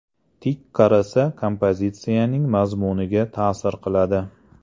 Tik qarasa kompozitsiyaning mazmuniga ta’sir qiladi.